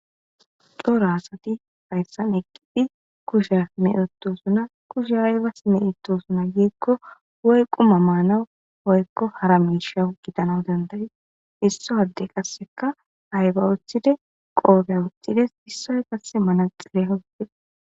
Dooro asati hayssan eqqiphi kushafmeuttosuna kushe haybas meitosuna yiekko woy quma maanawu hoykko hara miishau gidanan dandayi isso hadde qasseka hayba uthide qoobea uththides issay qasse manaxire hogde